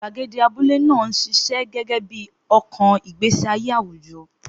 Gbàgede abúlé náà ṣiṣẹ́ gẹ́gẹ́ bí ọkàn ìgbésí ayé àwùjọ.